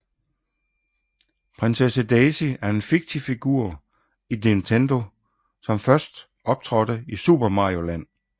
Prinsesse Daisy er en fiktiv figur i Nintendo som er blevet først optrådte i Super Mario Land